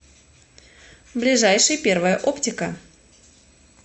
ближайший первая оптика